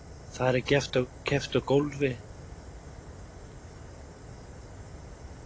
Þar er keppt á gólfi, trampólíni og dýnu.